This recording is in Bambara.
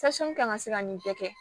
kan ka se ka nin bɛɛ kɛ